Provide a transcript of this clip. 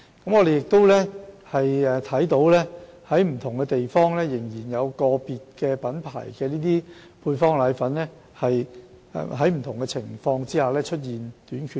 據觀察所得，在不同地方仍有個別配方粉品牌在不同情況下出現短缺。